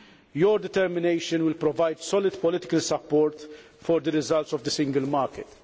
Your determination will provide solid political support for the results of the single market.